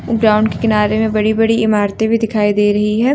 Ground के किनारे में बड़ी बड़ी इमरते भी दिखाई दे रही है।